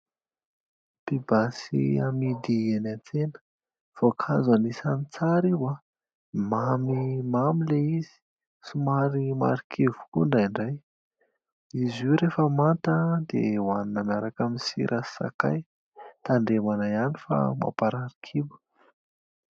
Pibasy amidy eny an-tsena voankazo anisan'ny tsary io, mamimamy ilay izy, somary marikivy koa indraindray. Izy io rehefa manta dia hoanina miaraka amin'ny sira sy sakay. Tandremana ihany fa mankarary kibo.